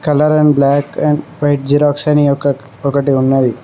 Colour and black and white xerox అని ఒకటి ఉన్నది.